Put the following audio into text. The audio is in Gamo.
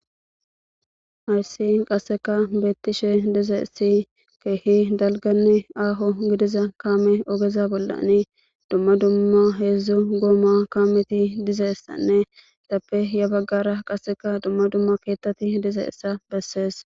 ayssi qasseka beettishe dizeessi keehi dalganni aaho gidiza kaame ogeza bollani dumma dumma heedzdzu gooma kaameti dizeessanne tappe ya baggara qasseka dumma dumma keettati dizeessa bessees